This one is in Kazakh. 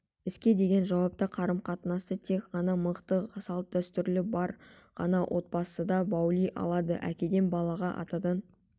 іске деген жауапты қарым-қатынасты тек ғана мықты салт-дәстүрлері бар ғана отбасыда баули алады әкеден балаға атадан